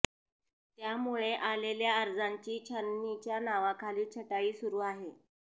त्यामुळे आलेल्या अर्जाची छाननीच्या नावाखाली छटाई सुरू आहे